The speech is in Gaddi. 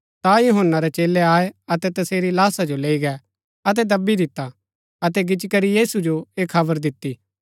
अतै अपणै सेवका जो बल्लू ऐह यूहन्‍ना बपतिस्मा दिणैबाळा हा कै सो मरूरै थऊँ जी भूआ ठेरैतांये तैस मन्ज शक्ति भरै कम प्रकट भूचु करदै हिन